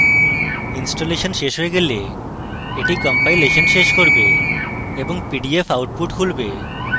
ইনস্টলেশনের শেষ হয়ে গেলে এটি কম্পাইলেশন শেষ করবে এবং পিডিএফ output খুলবে